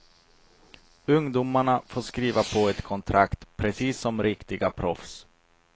Ungdomarna får skriva på ett kontrakt, precis som riktiga proffs.